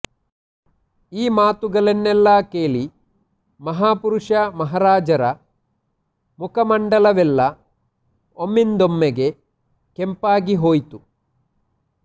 ಈ ಮಾತುಗಳನ್ನೆಲ್ಲ ಕೇಳಿ ಮಹಾಪುರುಷ ಮಹಾರಾಜರ ಮುಖಮಂಡಲವೆಲ್ಲ ಒಮ್ಮೆಂದೊಮ್ಮೆಗೆ ಕೆಂಪಾಗಿಹೋಯಿತು